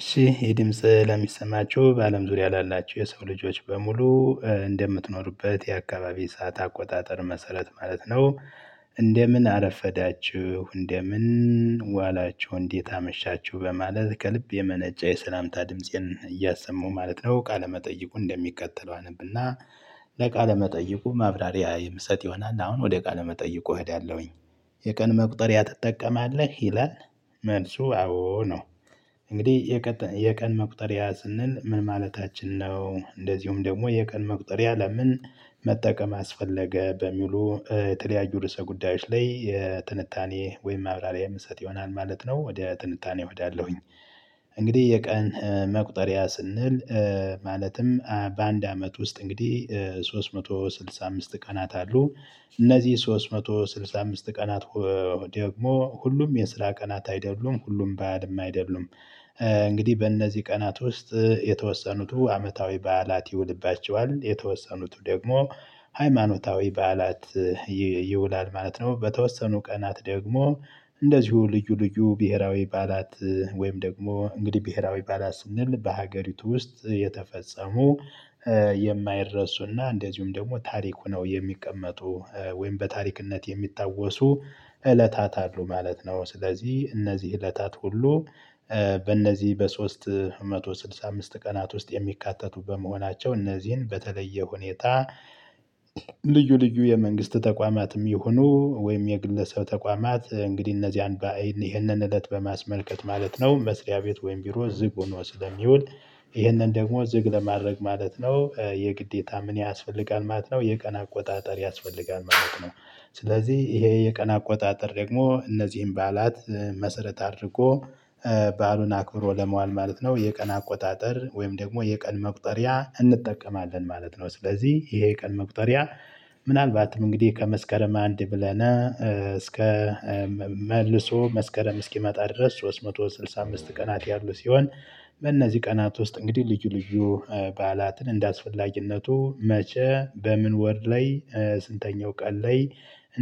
እሺ ይህ ድምጽ ለሚሰማችሁ በአለም ዙሪያ ላላቸው የሰው ልጆች በሙሉ እንደምትኖሩበት የአካባቢ ሰዓት አቆጣጠር መሰረት ማለት ነው። እንደምን አረፈዳችሁ እንደምን ዋላችሁ እንዴት አመሻችሁ በማለት ከልብ የመነጨ የሰላምታ ድምፄን እያሰማሁ ማለት ነው። ቃለመጠይቁ እንደሚከተለው አነብና ለቃለ መጠይቁ ማብራሪያ የምሰጥ ይሆናል። አሁን ወደ ቃለ መጠይቁ እሄዳለሁኝ። የቀን መቁጠሪያ ትጠቀማለህ ይላል? መልሱ አዎ ነው። እንግዲህ የቀን መቁጠሪያ ስንል ምን ማለታችን ነው? እንደዚሁም ደግሞ የቀን መቁጠሪያ ለምን? መጠቀም አስፈለገ በሚሉ የተለያዩ ርዕሰ ጉዳዮች ላይ የትንታኔ ወይም አብራሪያ እምሰጥ ይሆናል ማለት ነው። ወደ ትንታኔው እሄዳለሁኝ። እንግዲህ የቀን መቁጠሪያ ስንል ማለትም በአንድ አመት ውስጥ እንግዲህ ሶስት መቶ ስድሳ አምስት ቀናት አሉ። እነዚህ ሶስት መቶ ስድሳ አምስት ቀናት ደግሞ ሁሉም የስራ ቀናት አይደሉም ሁሉም በዓልም አይደሉም። እንግዲህ በእነዚህ ቀናት ውስጥ የተወሰኑት አመታዊ በዓላት ይውልባቸዋል የተወሰኑት ደግሞ ሃይማኖታዊ በዓላት ይውላል ማለት ነው። በተወሰኑ ቀናት ደግሞ እንደዚሁ ልዩ ልዩ ብሄራዊ በዓላት ወይም ደግሞ እንግዲህ ብሄራዊ በዓላት ስንል በሀገሪቱ ውስጥ የተፈጸሙ የማይረሱና እንደዚሁም ደግሞ ታሪኩ ነው የሚቀመጡ ወይም በታሪክነት የሚታወሱ እለታት አሉ ማለት ነው። ስለዚህ እነዚህ እለታት ሁሉ በእነዚህ በሶስት መቶ ስልሳ አምስት ቀናት ውስጥ የሚካተቱ በመሆናቸው እነዚህን በተለየ ሁኔታ። ልዩ የመንግስት ተቋማትም ይሁኑ ወይም የግለሰብ ተቋማት እንግዲህ እነዚህ ይህንን እለት በማስመልከት ማለት ነው። መስሪያ ቤት ወይም ቢሮ ዝግ ሆኖ ስለሚውል ይህንን ደግሞ ዝግ ለማድረግ ማለት ነው የግዴታ ምን ያስፈልጋል ማለት ነው የቀን አቆጣጠር ያስፈልጋል ማለት ነው። ስለዚህ ይሄ የቀን አቆጣጠር ደግሞ እነዚህን በዓላት መሰረት አድርጎ በዓሉን አክብሮ ለመዋል ማለት ነው። የቀን አቆጣጠር ወይም ደግሞ የቀን መቁጠሪያ እንጠቀማለን ማለት ነው። ስለዚህ ይሄ የቀን መቁጠሪያ ምናልባትም እንግዲህ ከመስከረም አንድ ብለን እስከ መልሶ መስከረም እስኪመጣ ድረስ ሶስት መቶ ስድሳ አምስት ቀናት ያሉ ሲሆን። በእነዚህ ቀናት ውስጥ እንግዲህ ልዩ ልዩ በዓላትን እንደአስፈላጊነቱ መቸ በምን ወር ላይ ስንተኛው ቀን ላይ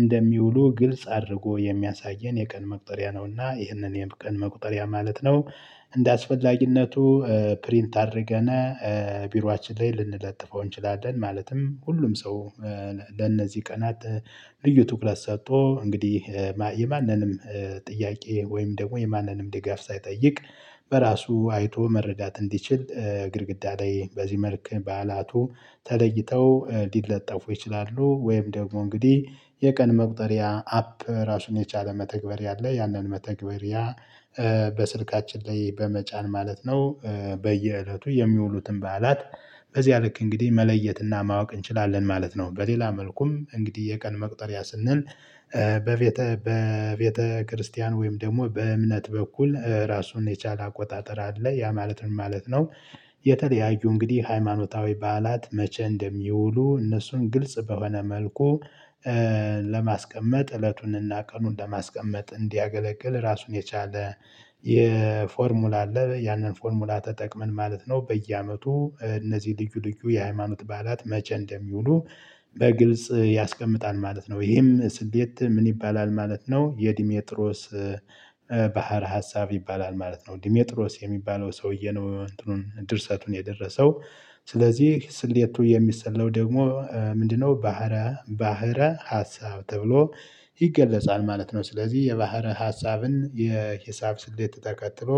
እንደሚውሉ ግልጽ አድርጎ የሚያሳየን የቀን መቁጠሪያ ነውና ይህንን የቀን መቁጠሪያ ማለት ነው። እንደአስፈላጊነቱ ፕሪንት አድርገን ቢሮአችን ላይ ልንለጥፈው እንችላለን። ማለትም ሁሉም ሰው ለነዚህ ቀናት ልዩ ትኩረት ሰጥቶ እንግዲህ የማንንም ጥያቄ ወይም ደግሞ የማንንም ድጋፍ ሳይጠይቅ በራሱ አይቶ መረዳት እንዲችል ግድግዳ ላይ በዚህ መልኩ በዓላቱ ተለይተው ሊለጠፉ ይችላሉ። ወይም ደግሞ እንግዲህ የቀን መቁጠሪያ አፕ ራሱን የቻለ መተግበር ያለ ያንን መተግበር ያ በስልካችን ላይ በመጫን ማለት ነው። በየእለቱ የሚውሉትን በዓላት በዚያ ልክ እንግዲህ መለየትና ማወቅ እንችላለን ማለት ነው። በሌላ መልኩም እንግዲህ የቀን መቅጠሪያ ስንል በቤተ በቤተ ክርስቲያን ወይም ደግሞ በእምነት በኩል ራሱን የቻለ አቆጣጠር አለ። ያ ማለት ምን ማለት ነው? የተለያዩ እንግዲህ ሃይማኖታዊ በዓላት መቼ እንደሚውሉ እነሱን ግልጽ በሆነ መልኩ ለማስቀመጥ እለቱንና ቀኑን ለማስቀመጥ እንዲያገለግል ራሱን የቻለ። የፎርሙላ አለ ያንን ፎርሙላ ተጠቅመን ማለት ነው በየአመቱ እነዚህ ልዩ ልዩ የሃይማኖት በዓላት መቼ እንደሚውሉ በግልጽ ያስቀምጣል ማለት ነው። ይሄም ስሌት ምን ይባላል ማለት ነው? የዲሜጥሮስ ባሀረ ሀሳብ ይባላል ማለት ነው። ዲሜጥሮስ የሚባለው ሰውዬ ነው እንትኑን ድርሰቱን የደረሰው። ስለዚህ ስሌቱ የሚሰለው ደግሞ ምንድነው? ባህረ ባህረ ሀሳብ ተብሎ ይገለጻል ማለት ነው። ስለዚህ የባህር ሀሳብን የሂሳብ ስሌት ተከትሎ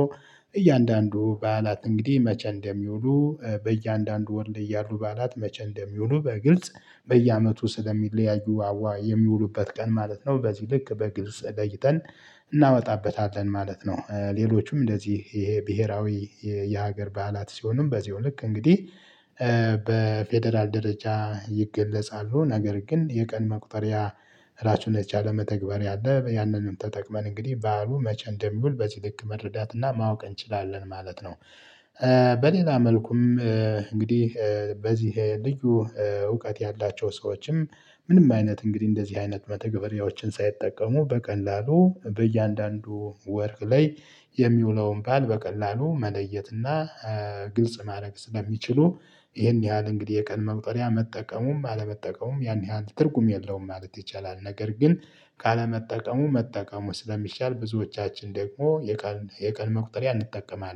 እያንዳንዱ በዓላት እንግዲህ መቼ እንደሚውሉ በእያንዳንዱ ወር ላይ ያሉ በዓላት መቼ እንደሚውሉ በግልጽ በየአመቱ ስለሚለያዩ አዋ የሚውሉበት ቀን ማለት ነው። በዚህ ልክ በግልጽ ለይተን እናመጣበታለን ማለት ነው። ሌሎችም እንደዚህ ይሄ ብሄራዊ የሀገር በዓላት ሲሆንም በዚሁ ልክ እንግዲህ ደረጃ ይገለጻሉ። ነገር ግን የቀን መቁጠሪያ ራሱን የቻለ መተግበርያ አለ። ያንንም ተጠቅመን እንግዲህ በዓሉ መቸ እንደሚውል በዚህልክ መረዳት እና ማወቅ እንችላለን ማለት ነው። በሌላ መልኩም እንግዲህ በዚህ ልዩ እውቀት ያላቸው ሰዎችም ምንም አይነት እንግዲህ እንደዚህ አይነት መተግበሪያዎችን ሳይጠቀሙ በቀላሉ በእያንዳንዱ ወር ላይ የሚውለውን በዓል በቀላሉ መለየትና ግልጽ ማድረግ ስለሚችሉ ይሄን ያህል እንግዲህ የቀን መቁጠሪያ መጠቀሙም አለመጠቀሙም ይህን ያህል ትርጉም የለውም ማለት ይቻላል። ነገር ግን ካለመጠቀሙ መጠቀሙ ስለሚሻል ብዙዎቻችን ደግሞ የቀን የቀን መቁጠሪያ እንጠቀማለን